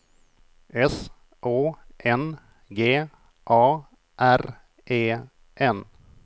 S Å N G A R E N